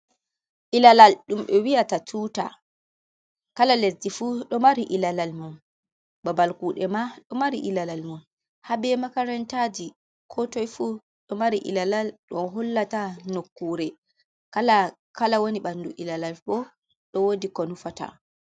Ilalal dum be wi'ata tuta, kala lezdi fu do mari ilalal mum. Babal kude ma do mari ilalal mum, habe makarantaji. Kotoi fu do mari ilalal dom hollata nokkure, kala woni bandu ilalal bo dow wodi ko nufata.